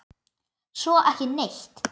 Svo ekki neitt.